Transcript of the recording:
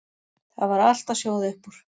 Það var allt að sjóða upp úr.